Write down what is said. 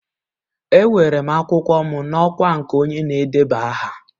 Ewere m akwụkwọ m n'ọkwa nke onye na-edeba aha.